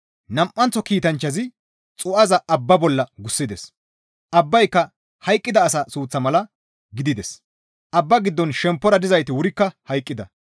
Nam7anththo kiitanchchazi xuu7aza abba bolla gussides; abbayka hayqqida asa suuththa mala gidides; abba giddon shemppora dizayti wurikka hayqqida.